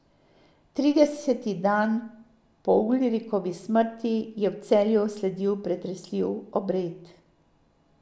Trideseti dan po Ulrikovi smrti je v Celju sledil pretresljiv obred.